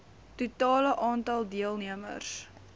totale aantal deelnemers